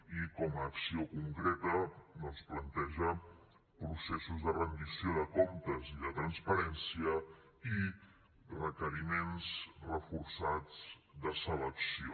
i com a acció concreta doncs planteja processos de rendició de comptes i de transparència i requeriments reforçats de selecció